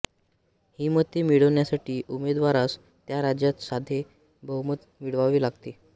ही मते मिळविण्यासाठी उमेदवारास त्या राज्यात साधे बहुमत मिळवावे लागते